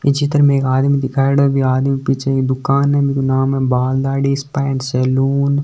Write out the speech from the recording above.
ये चित्र मे एक आदमी दिखायोडो है बी आदमी पीछे एक दुकान है बिको नाम हे Baal Dadhi spa and salon.